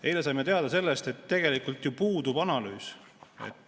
Eile saime teada, et tegelikult ju puudub analüüs.